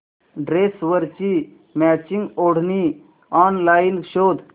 ड्रेसवरची मॅचिंग ओढणी ऑनलाइन शोध